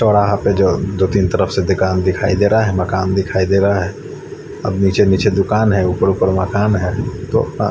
थोड़ा हाफ है जो दो तीन तरफसे दुकान दिखाई दे रहा है मकान दिखाई दे रहा है अब निचे निचे दुकान है ऊपर ऊपर मकान है तो अ--